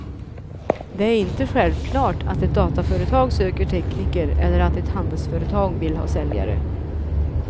Det är inte självklart att ett dataföretag söker tekniker eller att ett handelsföretag vill ha säljare.